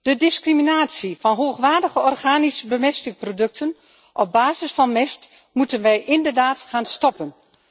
De discriminatie van hoogwaardige organische bemestingsproducten op basis van mest moeten wij inderdaad gaan stoppen.